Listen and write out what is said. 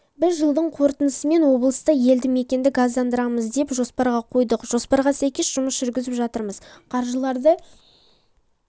біз жылдың қортындысымен облыста елді мекенді газдандырамыз деп жоспарға қойдық жоспарға сәйкес жұмыс жүргізіп жатырмыз қаржыларды